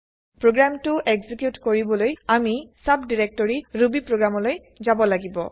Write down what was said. প্ৰগ্ৰেমটো এক্সেকিউট কৰিবলৈ আমি চাবডাইৰেক্টৰি ৰুবি প্ৰগ্ৰেমলৈ যাব লাগিব